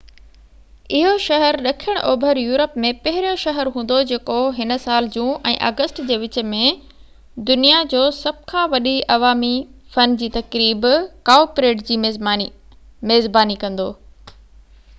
اهو شهر ڏکڻ اوڀر يورپ ۾ پهريون شهر هوندو جيڪو هن سال جون ۽ آگسٽ جي وچ ۾ دنيا جو سڀ کان وڏي عوامي فن جي تقريب ڪائو پريڊ جي ميزباني ڪندو